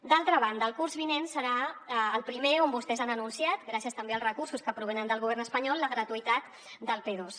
d’altra banda el curs vinent serà el primer on vostès han anunciat gràcies també als recursos que provenen del govern espanyol la gratuïtat del p2